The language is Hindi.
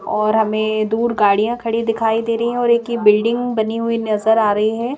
और हमें दूर गाड़ियाँ खड़ी दिखाई दे रही हैं और एक यह बिल्डिंग बनी हुई नज़र आ रही है।